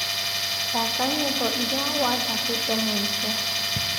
thaaka nyĩmbo iria wathakĩĩte mũico